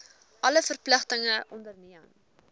alle verpligtinge onderneem